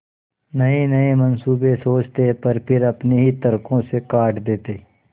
नयेनये मनसूबे सोचते पर फिर अपने ही तर्को से काट देते